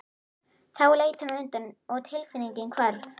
Þá leit hún undan og tilfinningin hvarf.